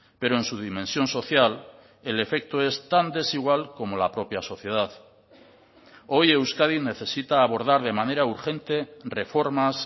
pero en su dimensión social el efecto es tan desigual como la propia sociedad hoy euskadi necesita abordar de manera urgente reformas